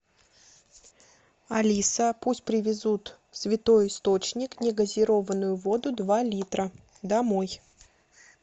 алиса пусть привезут святой источник негазированную воду два литра домой